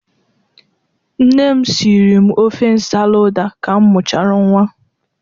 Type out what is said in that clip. Nne m siri m ofe nsala ụda ka m mụchara nnwa.